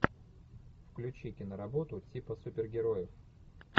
включи киноработу типа супергероев